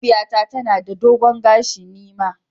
Mahaifiyata tana da dogon gashi, ni ma.